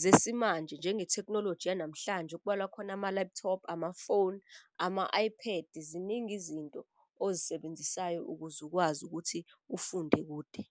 zesimanje njenge thekhnoloji yanamhlanje okubalwa khona ama-laptop, amafoni, ama-Ipad. Ziningi izinto ozisebenzisayo ukuze ukwazi ukuthi ufunde kude.